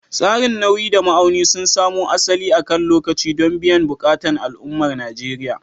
Tsarin nauyi da ma'auni sun samo asali akan lokaci don biyan buƙatun al'ummar Najeriya.